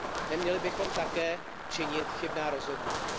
Neměli bychom také činit chybná rozhodnutí.